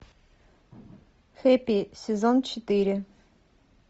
хэппи сезон четыре